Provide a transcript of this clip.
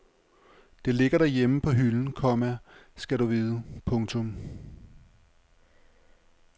Det ligger derhjemme på hylden, komma skal du vide. punktum